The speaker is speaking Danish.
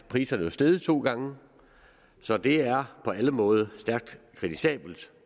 priserne jo steget to gange så det er på alle måder stærkt kritisabelt